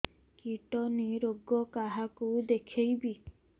kidney ରୋଗ କାହାକୁ ଦେଖେଇବି